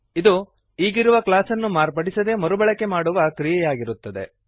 ಇದು ಈಗಿರುವ ಕ್ಲಾಸನ್ನು ಮಾರ್ಪಡಿಸದೇ ಮರುಬಳಕೆ ಮಾಡುವ ಕ್ರಿಯೆಯಾಗಿರುತ್ತದೆ